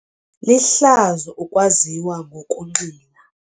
Lihlazo ukwaziwa ngokunxila.